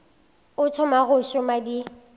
o thoma go šoma di